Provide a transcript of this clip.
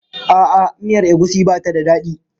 A'a, miyar egusi ba ta da daɗi.